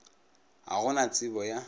ga go na tsebo ya